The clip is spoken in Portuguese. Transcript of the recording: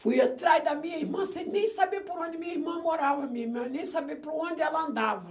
Fui atrás da minha irmã, sem nem saber por onde minha irmã morava, minha irmã, nem saber por onde ela andava.